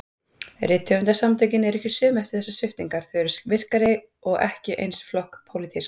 Rithöfundasamtökin eru ekki söm eftir þessar sviptingar, þau eru virkari- og ekki eins flokkspólitísk.